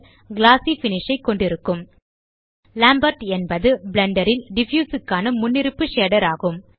குளோசி finish ஐ கொண்டிருக்கும் Lambert என்பது பிளெண்டர் ல் டிஃப்யூஸ் க்கான முன்னிருப்பு ஷேடர் ஆகும்